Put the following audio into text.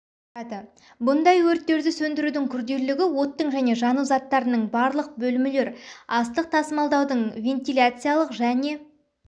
құрады бұндай өрттерді сөндірудің күрделілігі оттың және жану заттарының барлық бөлмелер астық тасымалдаудың вентиляциялық және